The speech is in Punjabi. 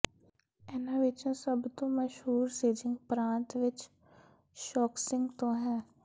ਇਹਨਾਂ ਵਿੱਚੋਂ ਸਭ ਤੋਂ ਮਸ਼ਹੂਰ ਸ਼ਿਜਿੰਗ ਪ੍ਰਾਂਤ ਵਿੱਚ ਸ਼ੋਕਸਿੰਗ ਤੋਂ ਹੈ